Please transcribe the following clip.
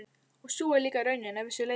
Og sú var líka raunin að vissu leyti.